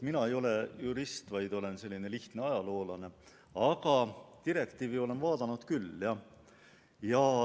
Mina ei ole jurist, vaid olen selline lihtne ajaloolane, aga direktiivi olen vaadanud küll.